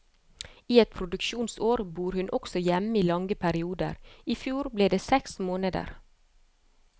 I et produksjonsår bor hun også hjemme i lange perioder, i fjor ble det seks måneder.